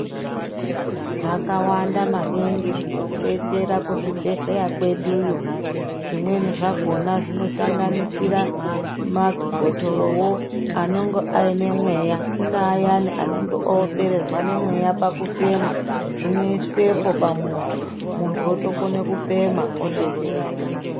Zvakawanda maningi zvinotibetsera kuzvibhedhleeya kweduyo. Zvimweni zvakona zvinosanganisira mabhotoroyo anenge aine mweya. Kune ayani anenge opererwa nemweya pakufema zvinoiswepo pamuntu muntu otokone kufema obetsereka.